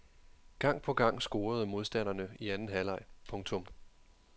Gang på gang scorede modstanderne i anden halvleg. punktum